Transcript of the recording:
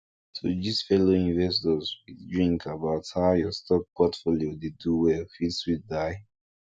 to gist fellow investors with drink about how your stock portfolio dey do well fit sweet die